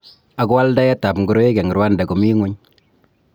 Ako aldaet ab ngoroik eng Rwanda komi nguny.